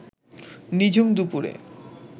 নিঝুম দুপুরে